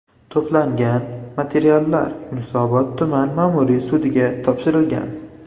To‘plangan materiallar Yunusobod tuman ma’muriy sudiga topshirilgan.